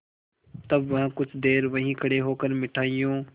तब वह कुछ देर वहीं खड़े होकर मिठाइयों